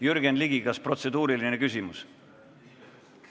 Jürgen Ligi, kas protseduuriline küsimus?